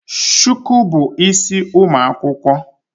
Shuku bu isi ụmụ akwụkwọ